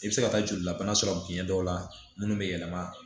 I bɛ se ka taa jolilabana sɔrɔ biɲɛ dɔw la minnu bɛ yɛlɛma